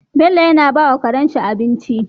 Bello yana bawa Karen shi abinci